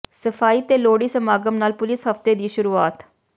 ਸਫਾਈ ਤੇ ਲੋਹੜੀ ਸਮਾਗਮ ਨਾਲ ਪੁੁਲਿਸ ਹਫ਼ਤੇ ਦੀ ਸ਼ੁਰੂਆਤ